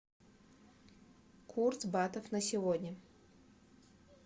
курс батов на сегодня